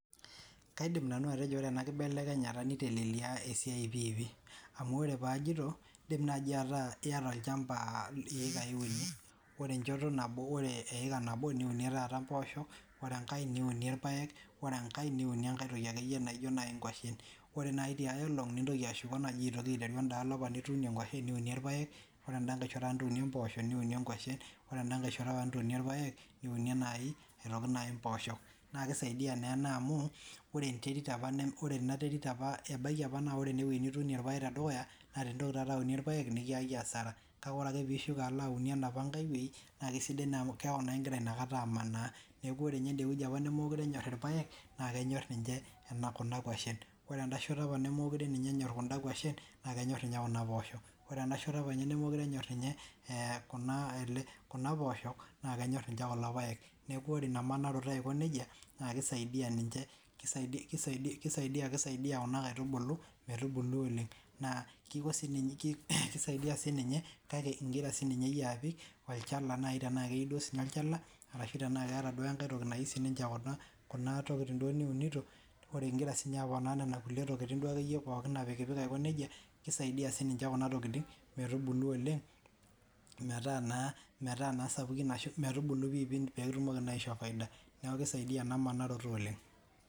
Kaidim nanu atejo ore ena kibelekenyata nitelelia esia pih pih. Amu ore paajito in'dim naji ataa iyata olchamba iyekai uni ore enchoto nabo eeka niunie taata mboosho ore engae niunie ilpaek ore engae niunie engae toki akeyie naijo nai ingwashen Ore nai tia olong ninteru ashuko alo endaalo nai nituunie ingwashen niunie ilpaek Ore endaalo nitunie mboosho niunie ngwashen Ore en'da shoto nituunie ilapek niunie aitoki nai imboosho Naa kesidai nai amu kisaidia naa ena amu ore ebaiki opa naa ore enewei nituunie ilpaek tedukuya naa ore piintoki aunie ilpaek nikiyaki asara kake orake piishuko alo aunie enopa ngai wuei naa kesidai naa amu kewalie naa igira nakata amanaa Niaku ende opa nimukure enyor ilpaek neekenyor ninye kuna kwashen ore enda shoto opa nemekure ninye enyor kun'da kwashen naa kenyor ninye kuna poosho, ore ena shoto opa nemekure enyor kuna poosho naa kenyor ninye kulo paek. Neeku ore ina manaroto aiko neja naa kisaidia kuna kaitibulu metubulu oleng naa kisaidia siininye kake igira nai siiyie apik tenaketii duo siininye olchala tenakeeta engae tiki naiu siininye kuna tokiting niunito ore igira aponaa nena tokiting apikipik aiko neija kisaidia siininye kuna tokiting metubulu oleng ashu metaa sapukin metumoki aisho faida niaku kisaidia ena manaroto oleng'